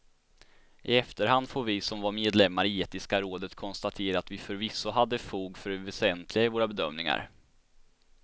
I efterhand får vi som var medlemmar i etiska rådet konstatera att vi förvisso hade fog för det väsentliga i våra bedömningar.